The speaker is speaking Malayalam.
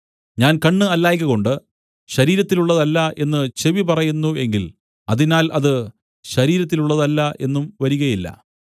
ഞാൻ കണ്ണ് അല്ലായ്കകൊണ്ട് ശരീരത്തിലുള്ളതല്ല എന്ന് ചെവി പറയുന്നു എങ്കിൽ അതിനാൽ അത് ശരീരത്തിലുള്ളതല്ല എന്നും വരികയില്ല